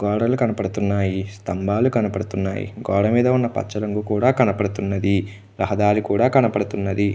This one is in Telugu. గోడలు కనపడుతున్నాయి. స్తంభాలు కనపడుతున్నాయి. గోడ మీద ఉన్న పచ్చ రంగు కూడా రహదారి కూడా కనపడుతున్నది. రహదారి కూడా కనపడుతున్నది. .